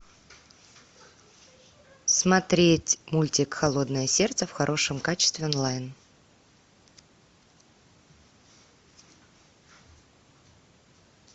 смотреть мультик холодное сердце в хорошем качестве онлайн